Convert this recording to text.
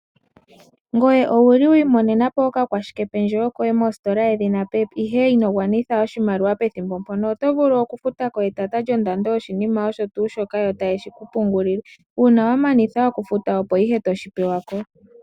Ngoye owuli wi imonena po oka kwashike pendjewo koye mositola yedhina pep ,ihe ino gwa nitha oshimaliwa pethimbo mpono ? oto vulu oku futa ko etata lyondando yo shinima osho tuu shoka yo taye shi ku pungulile. Uuna wa mana oku futa opo ihe toshi pewako.